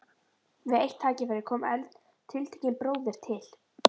Við eitt tækifæri kom tiltekinn bróðir til